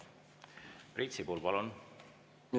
Priit Sibul, palun!